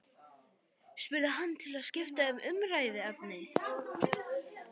spurði hann til að skipta um umræðuefni.